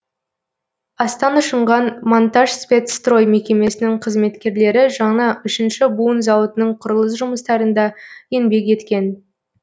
астан ұшынған монтажспецстрой мекемесінің қызметкерлері жаңа үшінші буын зауытының құрылыс жұмыстарында еңбек еткен